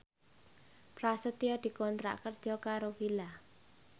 Prasetyo dikontrak kerja karo Fila